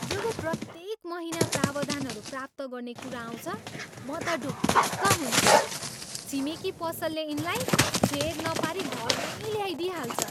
जब प्रत्येक महिना प्रावधानहरू प्राप्त गर्ने कुरा आउँछ, म त ढुक्क हुन्छु। छिमेकी पसलले यिनलाई फेेर नपारी घरमै ल्याइदिइहाल्छ।